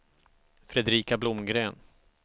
Fredrika Blomgren